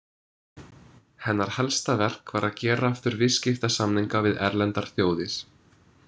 Hennar helsta verk var að gera aftur viðskiptasamninga við erlendar þjóðir.